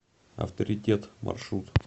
авторитет маршрут